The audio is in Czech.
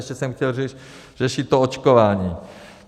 Ještě jsem chtěl řešit to očkování.